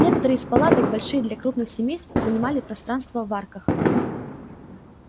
некоторые из палаток большие для крупных семейств занимали пространство в арках